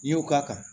N'i y'o ka kan